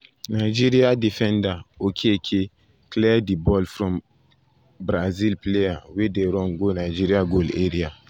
nigeria defender okeke clear di ball from ball from brazil um player wey dey run go nigeria goal area.